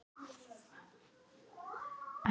sumra á millum.